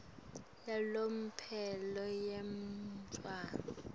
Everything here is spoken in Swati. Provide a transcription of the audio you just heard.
yalomphelo yemntfwana